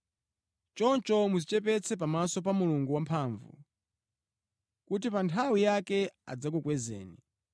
Choncho, mudzichepetse pamaso pa Mulungu wamphamvu, kuti pa nthawi yake adzakukwezeni.